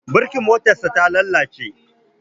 Birkin motarsa ta lalace.